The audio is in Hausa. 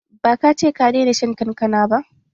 Ba ka ce ka daina shan kankana ba?